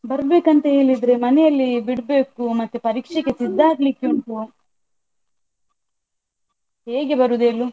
ಬರ್ಬೇಕು ಅಂತ ಹೇಳಿದ್ರೆ ಮನೆಯಲ್ಲಿ ಬಿಡ್ಬೇಕು ಮತ್ತೆ ಪರೀಕ್ಷೆಗೆ ಸಿದ್ದ ಆಗ್ಲಿಕ್ಕೆ ಉಂಟು, ಹೇಗೆ ಬರುದು ಹೇಳು?